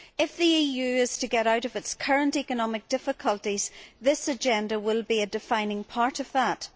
If the EU is to get out of its current economic difficulties, this Agenda will be a defining part of that.